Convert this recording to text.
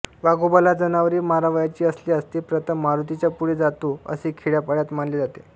वाघोबाला जनावरे मारावयाची असल्यास तो प्रथम मारुतीच्या पुढे जातो असे खेड्यापाड्यात मानले जाते